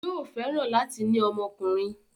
Yóò fẹ́ràn láti ní ọmọkùnrin.